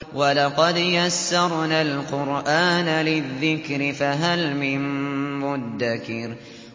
وَلَقَدْ يَسَّرْنَا الْقُرْآنَ لِلذِّكْرِ فَهَلْ مِن مُّدَّكِرٍ